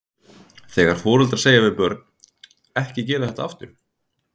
Þegar foreldrar segja við börn, ekki gera þetta aftur?